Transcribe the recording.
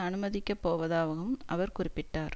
அனுமதிக்க போவதாகவும் அவர் குறிப்பிட்டார்